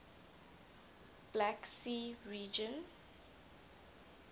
black sea region